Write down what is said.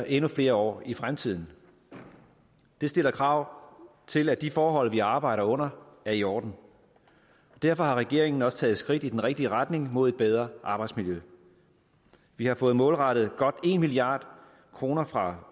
endnu flere år i fremtiden og det stiller krav til at de forhold vi arbejder under er i orden derfor har regeringen også taget skridt i den rigtige retning mod et bedre arbejdsmiljø vi har fået målrettet godt en milliard kroner fra